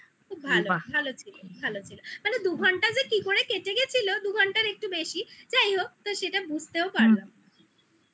খুব বাহ ভালো ভালো ছিল ভালো ছিল মানে দু ঘন্টা যে কি করে কেটে গেছিলো দু ঘন্টার একটু বেশি যাই হোক তো সেটা বুঝতেও পারলাম না হুম